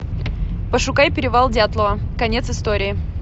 пошукай перевал дятлова конец истории